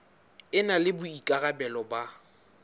e na le boikarabelo ba